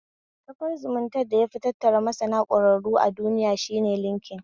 Kafar zumuntar da yafi tattara masana ƙwararru a duniya shine linkin